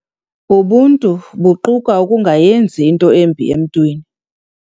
Ubuntu buquka ukungayenzi into embi emntwini